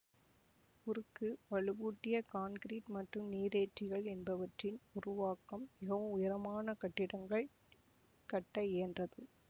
உருக்கு வலுவூட்டிய காங்கிறீட் மற்றும் நீரேற்றிகள் என்பவற்றின் உருவாக்கம் மிகவும் உயரமான கட்டிடங்கள் கட்ட இயன்றது